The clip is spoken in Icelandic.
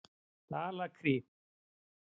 Dalakri